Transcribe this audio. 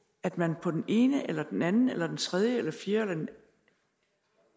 at man på den ene eller den anden eller den tredje eller den fjerde eller den